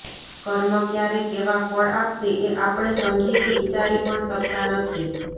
કર્મ ક્યારે કેવાં ફળ આપશે એ આપણે સમજી કે વિચારી પણ શકતા નથી